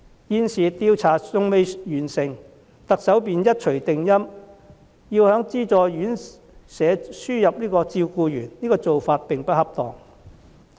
現時有關調查尚未完成，特首便一錘定音，要在資助院舍輸入照顧員，做法並不恰當。